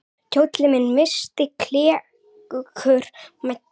Kjólinn missti klerkur mæddur.